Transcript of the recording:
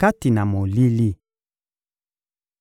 kati na molili.